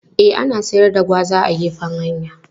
E, ana siyar da gwaza a gefen hanya.